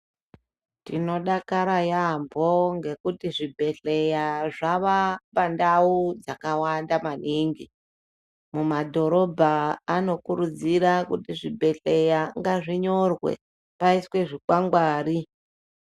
Tinodakara yambo, ngekuti zvibhedhleya zvava pandawo dzakawanda maningi. Mumadhorobha anokurudzira kuti zvibhedhleya ngazvinyorwe payiswe zvikwangwari.